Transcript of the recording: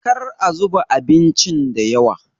kar a zuba abincin da yawa!